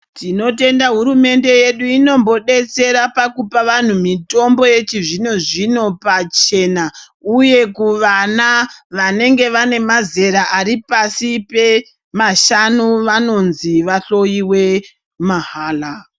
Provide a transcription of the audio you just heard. Tinotenda hurumende yedu inombodetsera pakupa vanhu mitombo yechizvino-zvino pachena, uye kuvana vanenge vane mazera ari pasi pemashanu vanonzi vahloiwe mahala.